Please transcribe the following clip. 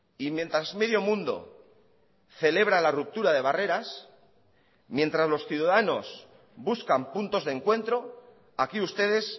y mientras medio mundo celebra la ruptura de barreras mientras los ciudadanos buscan puntos de encuentro aquí ustedes